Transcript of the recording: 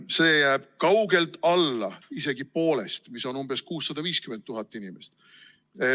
Seda on kaugel alla poole elanikkonnast, mis on umbes 650 000 inimest.